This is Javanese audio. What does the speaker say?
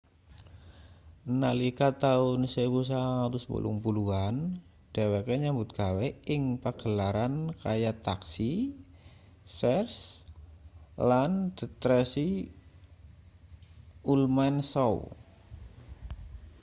nalika taun 1980 an dheweke nyambut gawe ing pagelaran kaya taxi cheers lan the tracy ullman show